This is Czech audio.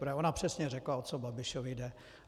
Protože ona přesně řekla, o co Babišovi jde.